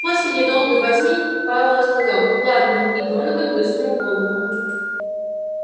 после недолгой возьми пауэлл сказал ладно и донован высунул голову